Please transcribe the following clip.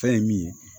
Fɛn ye min ye